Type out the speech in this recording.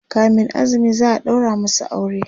kamin azumi za'a ɗaura masu aure